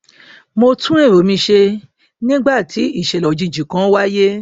mo tún èrò mi ṣe nígbàtí ìṣẹlẹ òjijì kan wáyé